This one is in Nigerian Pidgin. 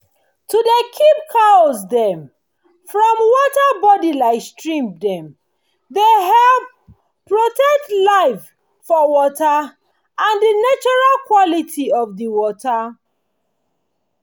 to dey keep cow dem from water body like stream dem dey help protect life for water and the natural quality of the water